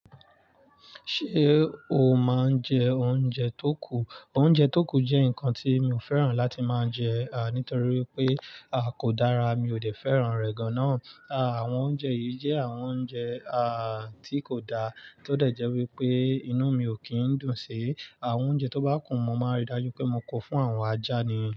Ṣé o máa ń jẹ oúnjẹ tó kù? Òúnjẹ tó kù jẹ́ nǹkan tí mi ò fẹ́ràn láti máa jẹ́, à nítorí pé, à kò dára, mi ò dẹ̀ fẹ́ràn rẹ̀ gan an. À àwọn oúnjẹ yìí jẹ́ àwọn oúnjẹ, à tí kò da tó dẹ̀ jẹ́ wípé inú mi ò kín ń dùn sí. Àwọn oúnjẹ tó bá kù, mo máa rí i dájú pé mo kó fún àwọn ajá ni.